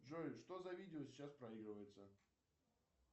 джой что за видео сейчас проигрывается